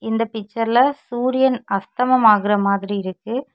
இந்த பிச்சர்ல சூரியன் அஸ்தமம் ஆகுற மாதிரி இருக்கு.